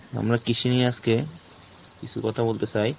আমরা কৃষি নিয়ে আজকে, কিছু কথা বলতে চাই।